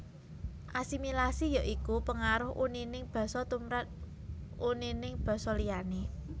Asimilasi ya iku pengaruh unining basa tumrap unining basa liyané